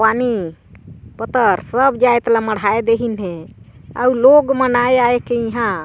पानी पतर सब जात ल मढ़हा दीहिन हे आऊ लोग मन आय-आए के ईहाँ--